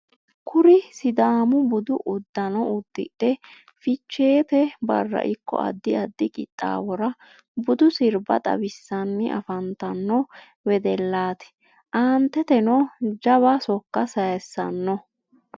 kuri sidaamu budu uddano uddidhe ficheete barra ikko addi addi qixxawora budu sirbba xawisanni afantanno wedellati. aanteteno jawa sokka sayisanno.